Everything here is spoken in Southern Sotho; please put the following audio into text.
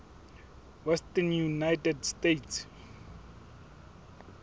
western united states